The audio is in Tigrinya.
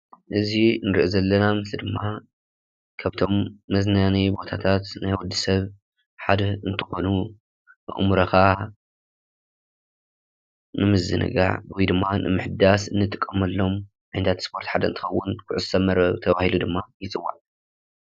እዚ እንሪኦ ዘለና ምስሊ ድማ ካብቶም መዝናነይ ቦታታት ናይ ወዲሰብ ሓደ እንትኾን ኣእምሮኻ ንምዝንጋዕ ወይ ድማ ንምሕዳስ እንጥቀመሉ ሜላ ስፖርት ሓደ እንትኸውን ኩዕሶ መርበብ ተባሂሉ ድማ ይፅዋዕ።